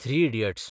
three idiots